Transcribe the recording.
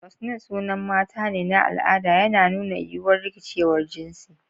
Roseline sunan mata ne na al'ada, yana nuna yiwuwar rikicewar jinsi.